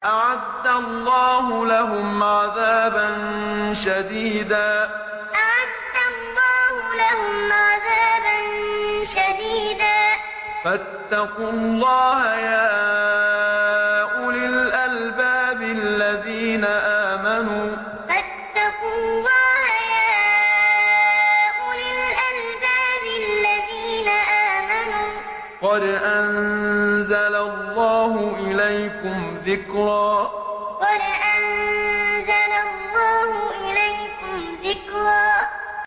أَعَدَّ اللَّهُ لَهُمْ عَذَابًا شَدِيدًا ۖ فَاتَّقُوا اللَّهَ يَا أُولِي الْأَلْبَابِ الَّذِينَ آمَنُوا ۚ قَدْ أَنزَلَ اللَّهُ إِلَيْكُمْ ذِكْرًا أَعَدَّ اللَّهُ لَهُمْ عَذَابًا شَدِيدًا ۖ فَاتَّقُوا اللَّهَ يَا أُولِي الْأَلْبَابِ الَّذِينَ آمَنُوا ۚ قَدْ أَنزَلَ اللَّهُ إِلَيْكُمْ ذِكْرًا